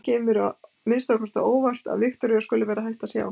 Það kemur mér að minnsta kosti á óvart að Viktoría skuli vera hætt að sjá.